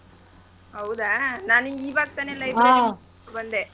ಹೌದಾ ನಾನು ಈವಾಗ ತಾನೇ ಯಿಂದ ಬಂದೆ.